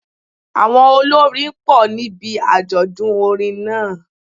Àwọn olórin pọ̀ níbi àjọ̀dún orin náà